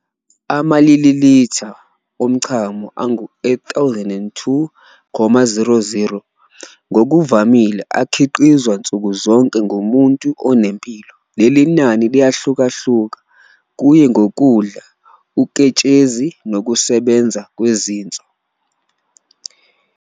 Ama-milliliter, ama-mL, omchamo angu-8002,000 ngokuvamile akhiqizwa nsuku zonke kumuntu onempilo. Leli nani liyahlukahluka kuye ngokudla uketshezi nokusebenza kwezinso.